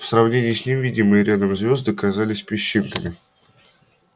в сравнении с ними видимые рядом звезды казались песчинками